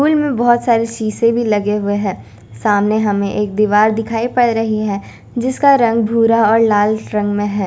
Cool में बहोत सारे शीशे भी लगे हुए हैं सामने हमें एक दीवार दिखाई पड़ रही है जिसका रंग भूरा और लाल रंग में है।